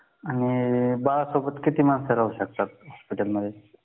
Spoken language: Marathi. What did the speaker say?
आणि बाळासोबत किती माणसं राहू शकतात हॉस्पिटलमध्ये